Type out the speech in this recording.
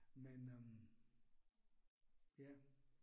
Men øh. Ja